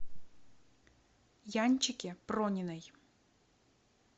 янчике прониной